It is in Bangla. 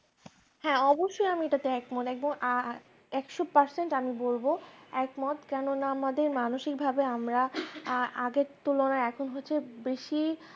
হ্যাঁ অবশ্যই আমি তাতে একমত একদম আ একশো percent আমি বলব একমত কেননা আমাদের মানসিকভাবে যে আমরা আগের তুলনায় এখন হচ্ছে বেশি